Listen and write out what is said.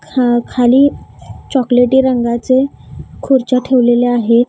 अ खाली चॉकोलेटी रंगाचे खुर्च्या ठेवलेल्या आहेत.